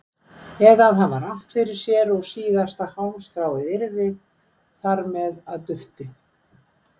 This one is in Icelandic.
Eða að hafa rangt fyrir sér og síðasta hálmstráið yrði þar með að dufti.